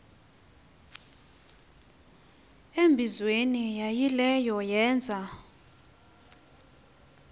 embizweni yaayileyo yeenza